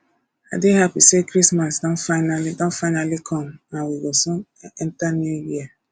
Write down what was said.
i dey happy say christmas don finally don finally come and we go soon enter new year